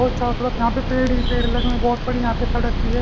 और चारों तरफ यहां पे पेड़ ही पेड़ लगे बहुत बड़ी यहां पे सड़क भी है।